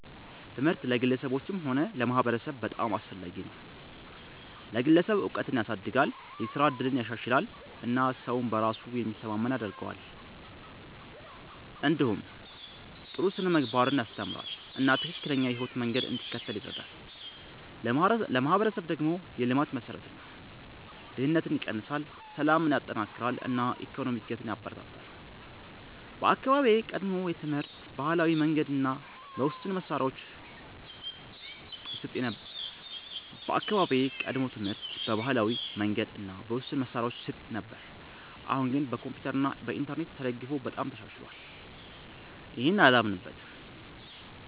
ትምህርት ለግለሰቦችም ሆነ ለማህበረሰብ በጣም አስፈላጊ ነው። ለግለሰብ እውቀትን ያሳድጋል፣ የስራ እድልን ያሻሽላል እና ሰውን በራሱ ላይ የሚተማመን ያደርገዋል። እንዲሁም ጥሩ ስነ-ምግባርን ያስተምራል እና ትክክለኛ የህይወት መንገድ እንዲከተል ይረዳል። ለማህበረሰብ ደግሞ የልማት መሠረት ነው፤ ድህነትን ይቀንሳል፣ ሰላምን ያጠናክራል እና የኢኮኖሚ እድገትን ያበረታታል። በአካባቢዬ ቀድሞ ትምህርት በባህላዊ መንገድ እና በውስን መሳሪያዎች ይሰጥ ነበር፣ አሁን ግን በኮምፒውተር እና በኢንተርኔት ተደግፎ በጣም ተሻሽሏል።